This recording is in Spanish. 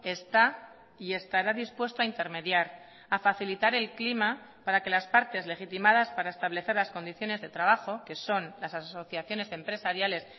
está y estará dispuesto a intermediar a facilitar el clima para que las partes legitimadas para establecer las condiciones de trabajo que son las asociaciones empresariales